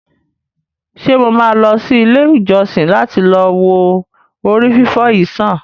Ṣe mo ma lọ sí ilé ìjósìn lati lọ wo ori fifọ yìí sàn?